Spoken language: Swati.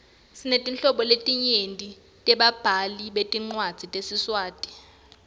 sinetinhlobo letinyenti tebabhali betincwadzi tesiswati